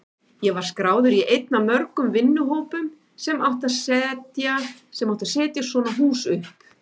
Ég var skráður í einn af mörgum vinnuhópum sem átti að setja svona hús upp.